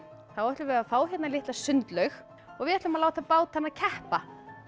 ætlum við að fá hérna litla sundlaug og við ætlum að láta bátana keppa